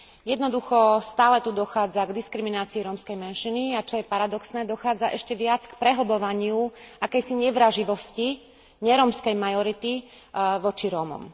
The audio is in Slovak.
Jednoducho tu stále dochádza k diskriminácii rómskej menšiny a, čo je paradoxné, dochádza ešte viac k prehlbovaniu akejsi nevraživosti nerómskej majority voči Rómom.